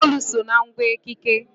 Mgbaolu so na ngwa ekike.